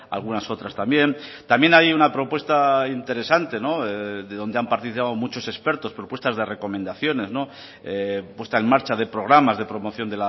algunas otras también también hay una propuesta interesante de donde han participado muchos expertos propuestas de recomendaciones puesta en marcha de programas de promoción